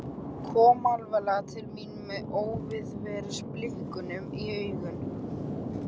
Kom alveg til mín með óveðursbliku í augunum.